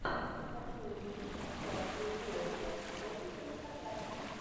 хочу увидеть трансляцию уотфорд против аристократов